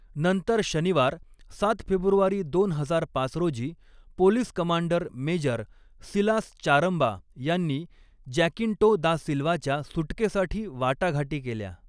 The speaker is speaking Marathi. नंतर शनिवार, सात फेब्रुवारी दोन हजार पाच रोजी, police commander major Silas Charamba यांनी जॅकिन्टो दा सिल्वाच्या सुटकेसाठी वाटाघाटी केल्या.